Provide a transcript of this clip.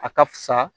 A ka fisa